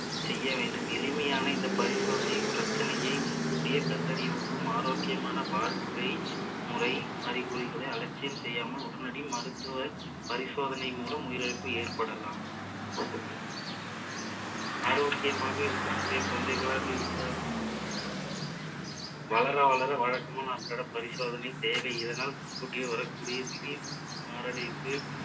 ஆரோக்கியமாக இருக்கக்கூடிய குழந்தைகளாக இருந்தால் வளர வளர பரிசோதனைக்கு தேவை இதனால் முன்கூட்டியே வரக்கூடிய திடீர் மாரடைப்பு